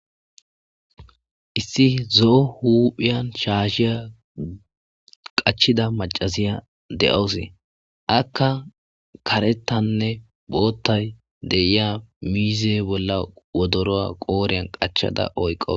Issi zoo huphiyan shaashiya qachida macaziya de7oos akka karetanne boottay deiya miize bolla wodoroa qooriyan qachada oyqo.